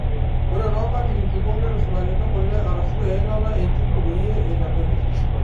Ore too nkatitin kumok neitushulakini kule arashu eilata e njugu peyie eitamelok.